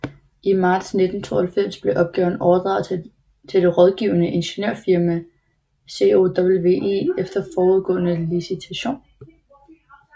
I marts 1992 blev opgaven overdraget til det rådgivende ingeniørfirma COWI efter forudgående licitation